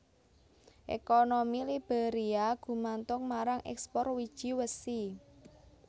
Ekonomi Liberia gumantung marang ekspor wiji wesi